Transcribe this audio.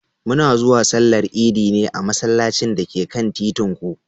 Muna zuwa Sallar Idi a masallacin da ke kan titin ku.